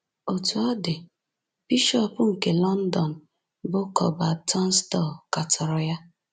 Otú ọ dị, bishọp nke London, bụ́ Cuthbert Tunstall, katọrọ ya.